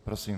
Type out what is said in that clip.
Prosím.